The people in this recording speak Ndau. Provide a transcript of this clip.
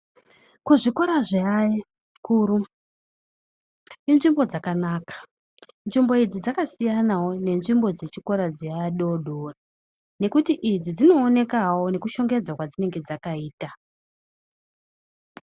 Kuzvikora zveakuru kune nzvimbo dzakanaka. Nzvimbo idzi dzakasiyanawo nezvimbo dzechikora dzeadodori ngekuti idzi dzinoonekawo nekushongedzwa kwadzinenge dzakaita.